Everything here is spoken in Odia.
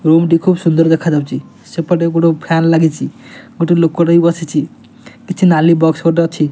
ରୁମ ଟି ଖୁବ ସୁନ୍ଦର ଦେଖାଯାଉଚି ସେପଟେ ଗୋଟେ ଫ୍ୟାନ ଲାଗିଚି ଗୋଟେ ଲୋକଟେ ବି ବସିଚି କିଛି ନାଲି ବକ୍ସ ଗୋଟେ ଅଛି।